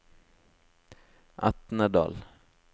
Etnedal